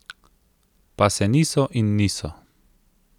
Pa se niso in niso.